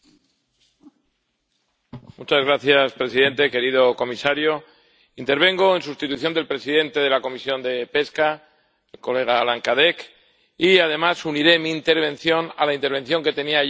Señor presidente, querido comisario, intervengo en sustitución del presidente de la Comisión de Pesca, mi colega Alain Cadec, y además uniré mi intervención a la intervención que tenía yo programada